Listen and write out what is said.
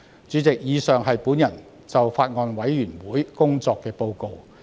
主席，以上是我就法案委員會工作作出的報告。